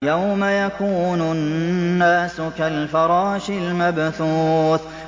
يَوْمَ يَكُونُ النَّاسُ كَالْفَرَاشِ الْمَبْثُوثِ